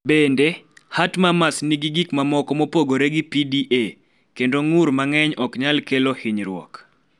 Bende, Heart murmurs nigi gik mamoko mopogore gi PDA, kendo ng�ur mang�eny ok nyal kelo hinyruok.